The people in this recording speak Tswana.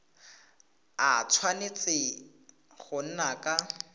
a tshwanetse go nna ka